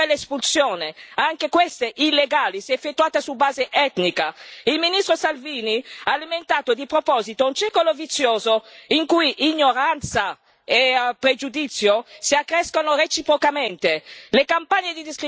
è andato anche oltre l'espulsione, anche queste illegali se effettuate su base etnica il ministro Salvini ha alimentato di proposito un circolo vizioso in cui ignoranza e pregiudizio si accrescono reciprocamente.